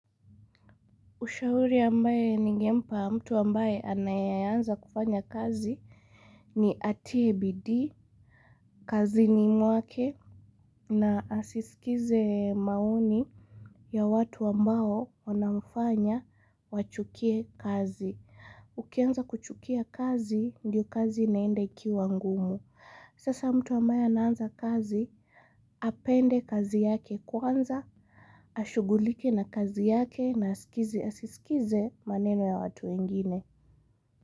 Ushauri ambaye ningempa mtu ambaye anayeeanza kufanya kazi ni atie bidii, kazini mwake na asisikize maoni ya watu ambao wanamfanya wachukie kazi. Ukianza kuchukia kazi, ndio kazi inaenda ikiwa ngumu. Sasa mtu ambaye anaanza kazi, apende kazi yake kwanza, ashughulike na kazi yake na asiskize maneno ya watu wengine.